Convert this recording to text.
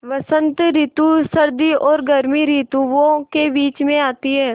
बसंत रितु सर्दी और गर्मी रितुवो के बीच मे आती हैँ